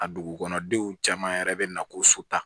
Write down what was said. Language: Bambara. A dugukɔnɔdenw caman yɛrɛ bɛ na ko so ta